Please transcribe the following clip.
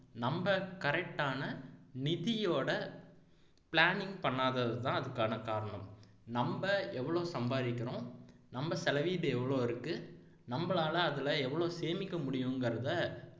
நம்ம correct ஆன நிதியோட planning பண்ணாததுதான் அதுக்கான காரணம் நம்ம எவ்வளவு சம்பாதிக்கிறோம் நம்ம செலவீடு எவ்வளவு இருக்கு நம்மளால அதுல எவ்வளவு சேமிக்க முடியுங்கிறதை